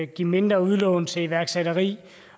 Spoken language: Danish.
give mindre udlån til iværksætteri